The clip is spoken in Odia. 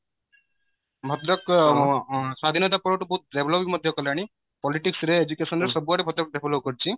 ଭଦ୍ରକ ଆଁ ସ୍ଵାଧୀନତା ପର ଠୁ ବୋହୁତ develop ମଧ୍ୟ କଲାଣି politics ରେ education ରେ ସବୁଆଡେ ଭଦ୍ରକ develop କରିଚି